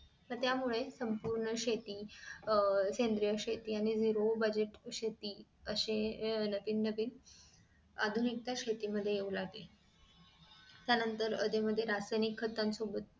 त्यामुळे संपूर्ण शेती अह सेंद्रिय शेती आणि zero budget शेती अशे अह नवीन नवीन आधुनिकता शेतीमध्ये येऊ लागली त्यानंतर अधेमधे रासायनिक खात सोबत